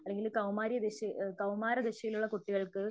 അല്ലെങ്കില് കൗമാര്യ വിഷയ് കൗമാര ദിശയിലുള്ള കുട്ടികൾക്ക്